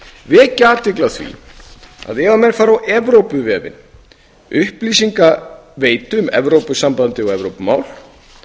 vekja athygli á því að ef menn fara á evrópuvefinn upplýsingaveitu um evrópusambandið og evrópumál